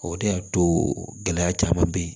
O de y'a to gɛlɛya caman bɛ yen